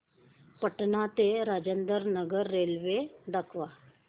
पटणा ते राजेंद्र नगर रेल्वे दाखवा